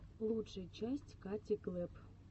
лучшая часть кати клэпп